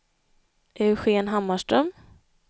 Eugén Hammarström